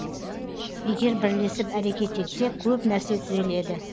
егер бірлесіп әрекет етсек көп нәрсе түзеледі